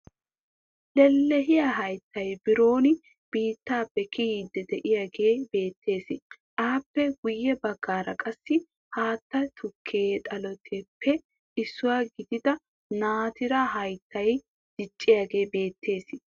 Lelehiyaa hayttay biron biittaappe kiyiiddi de"iyaagee beettees. Aappe guyye baggaara qassi haytta tukke xaletuppe issuwa gidida naatiraa hayttay diccidaagee beettees.